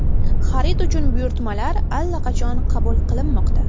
Xarid uchun buyurtmalar allaqachon qabul qilinmoqda.